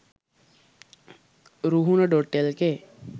ruhuna.lk